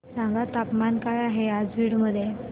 सांगा तापमान काय आहे आज बीड मध्ये